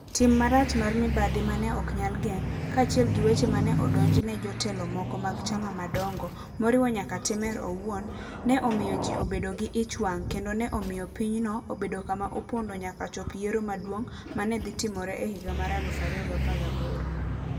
Tim marach mar mibadhi ma ne ok nyal geng ', kaachiel gi weche ma ne odonjne jotelo moko mag chama madongo, moriwo nyaka Temer owuon, ne omiyo ji obedo gi ich wang ' kendo ne omiyo pinyno obedo kama opondo nyaka chop yiero maduong ' ma ne dhi timore e higa mar 2018.